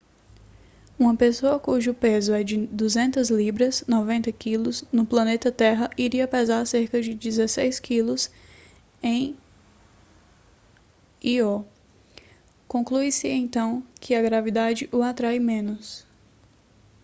uma pessoa cujo peso é de 200 libras 90 kg no planeta terra iria pesar cerca de 16 kg em io. conclui-se então que a gravidade o atrai menos